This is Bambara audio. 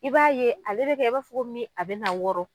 I b'a ye ale bɛ kɛ i b'a fɔ ko min a bɛna wɔrɔ.